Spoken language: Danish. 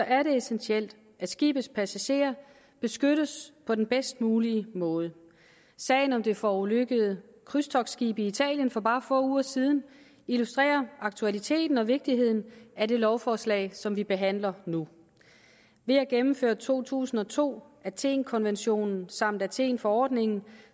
er det essentielt at skibets passagerer beskyttes på den bedst mulige måde sagen om det forulykkede krydstogtskib i italien for bare få uger siden illustrerer aktualiteten og vigtigheden af det lovforslag som vi behandler nu ved at gennemføre to tusind og to athenkonventionen samt athenforordningen